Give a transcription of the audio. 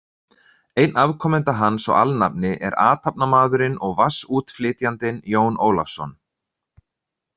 Einn afkomenda hans og alnafni er athafnamaðurinn og vatnsútflytjandinn, Jón Ólafsson.